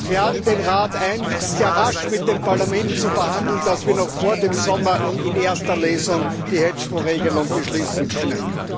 Ich lade den Rat ein, sehr rasch mit dem Parlament zu verhandeln, damit wir noch vor dem Sommer in erster Lesung die Hedgefondsregelung beschließen können.